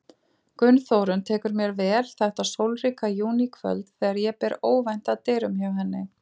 Gunnþórunn tekur mér vel þetta sólríka júníkvöld þegar ég ber óvænt að dyrum hjá henni.